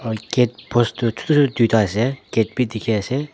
gate post toh chutu chutu duita ase gate bi dikhiase.